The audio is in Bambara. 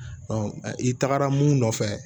i tagara mun nɔfɛ